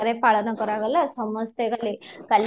ରେ ପାଳନ କର ଗଲା ସମସ୍ତେ ଗଲେ କାଲି